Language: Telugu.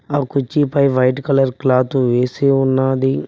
ఆ కుర్చీ పై వైట్ కలర్ క్లాత్ వేసి ఉన్నది.